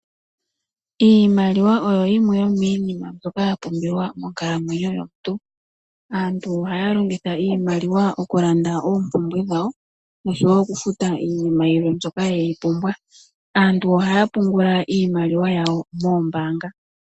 Iimaliwa oyo yimwe yo miinima mbyoka ya pumbiwa monkalamwenyo yomuntu. Aantu ohaya longitha iimaliwa okulanda oompumbwe dhawo oshowo okufuta iinima yilwe mbyoka ye yi pumbwa. Aantu ohaya pungula iimaliwa yawo moombanga.